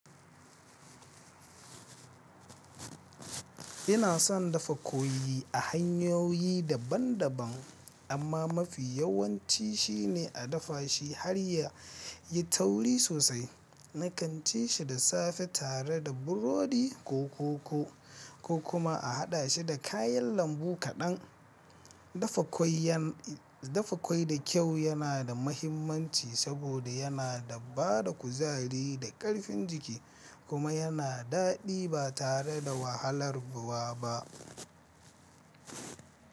Ina son dafa kwai a hanyoyi daban-daban, amma mafi yawan ci shine a dafa shi har ya yi tauri sosai, na kanci shi da safe tare da burodi ko koko, ko kuma a haɗa shi da kayan lambu kaɗan. Dafa kwai da kyau yana da mahimmanci saboda yana ba da kuzari da ƙarfin jiki kuma yana daɗi ba tare da wahalar wa ba.